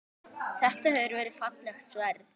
Þetta hefur verið fallegt sverð?